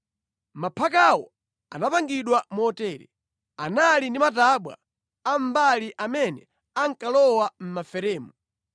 Maphakawo anapangidwa motere: Anali ndi matabwa a mʼmbali amene ankalowa mʼmaferemu.